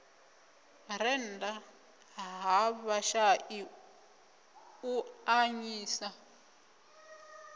rennda ha vhashai u avhanyisa